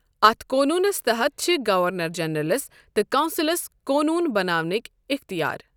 اتھ قونونس تحت چھِ گورنر جنرلس تہٕ کونسلس قونون بناونٕکۍ اٮ۪ختیار۔